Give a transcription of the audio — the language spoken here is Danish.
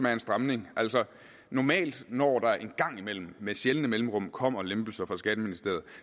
er en stramning normalt når der en gang imellem med sjældne mellemrum kommer lempelser fra skatteministeriet